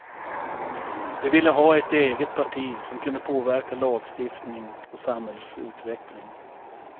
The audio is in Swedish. De ville ha ett eget parti som kunde påverka lagstiftning och samhällsutveckling.